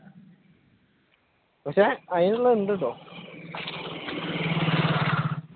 പക്ഷെ അതിനുള്ളയുണ്ടട്ടോ